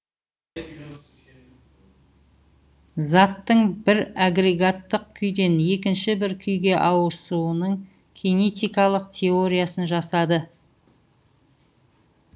заттың бір агрегаттық күйден екінші бір күйге ауысының кинетикалық теориясын жасады